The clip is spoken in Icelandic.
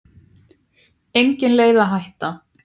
Engin leið að hætta.